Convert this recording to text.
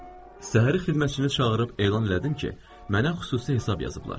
Səhəri xidmətçini çağırıb elan elədim ki, mənə xüsusi hesab yazıblar.